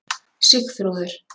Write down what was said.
Sigþrúður